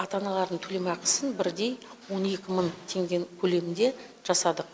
ата аналардың төлемақысын бірдей он екі мың теңгенің көлемінде жасадық